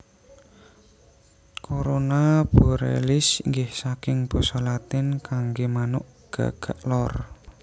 Corona Borealis inggih saking basa Latin kanggé manuk gagak lor